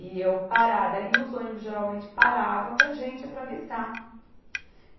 E eu parada ali, os ônibus geralmente paravam para a gente atravessar.